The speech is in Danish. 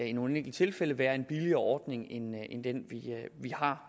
i nogle enkelte tilfælde være en billigere ordning end den vi har